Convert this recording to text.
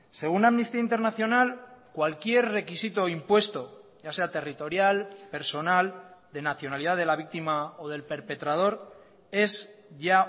según amnistía internacional cualquier requisito impuesto ya sea territorial personal de nacionalidad de la víctima o del perpetrador es ya